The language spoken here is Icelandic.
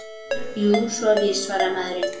Jú, svo er víst- svaraði maðurinn.